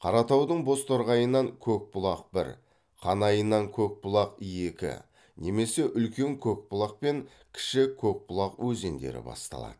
қаратаудың бозторғайынан көкбұлақ бір қанайынан көкбұлақ екі немесе үлкен көкбұлақ пен кіші көкбұлақ өзендері басталады